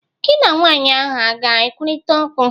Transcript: Gị na nwanyị ahụ a ga ekwurịta okwu?